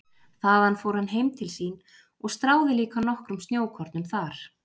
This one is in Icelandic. Þaðan fór hann heim til sín og stráði líka nokkrum snjókornum þar.